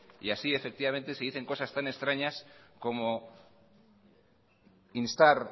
y así efectivamente se dicen cosas tan extrañas como instar